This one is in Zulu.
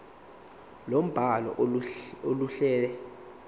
lombhalo aluluhle kahle